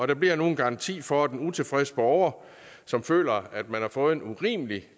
der bliver nu en garanti for at en utilfreds borger som føler at man har fået en urimelig